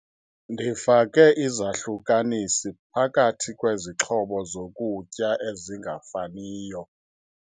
Ndifake izahlukanisi phakathi kwezixhobo zokutya ezingafaniyo.